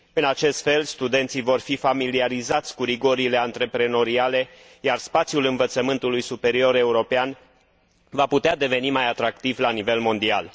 În acest fel, studenții vor fi familiarizați cu rigorile antreprenoriale, iar spațiul învățământului superior european va putea deveni mai atractiv la nivel mondial.